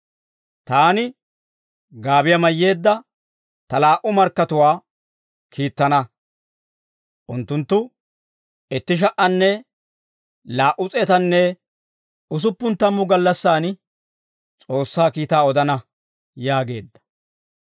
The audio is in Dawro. Taani gaabiyaa mayyeedda ta laa"u markkatuwaa kiittana; unttunttu itti sha"anne laa"u s'eetanne usuppun tammu gallassan S'oossaa kiitaa odana» yaageedda.